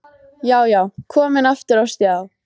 Já, já, komin aftur á stjá!